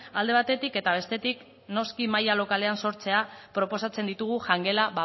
alde batetik eta bestetik noski maila lokalean sortzea proposatzen ditugu jangela